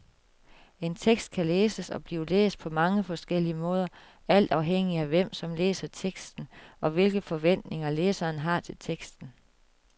En tekst kan læses og bliver læst på mange forskellige måder alt afhængigt af hvem, som læser teksten, og hvilke forventninger læseren har til teksten.